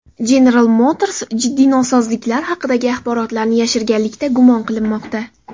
General Motors jiddiy nosozliklar haqidagi axborotlarni yashirganlikda gumon qilinmoqda.